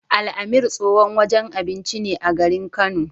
Al-amir tsohon wajen abinci ne a garin Kano.